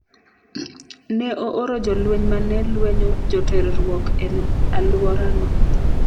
Ne ooro jolweny ma ne lwenyo joterruok e alworano.